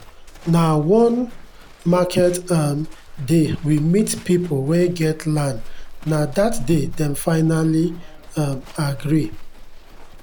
nah one market um day we meet people wen get lnd nah that day dem finally um gree